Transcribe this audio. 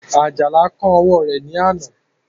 Àjàlá kán ọwọ́ rẹ̀ ní àná